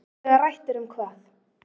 Og þegar rætt er um hvað?